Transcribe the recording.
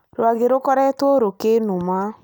Rwage rũkoretwo rũkĩnduma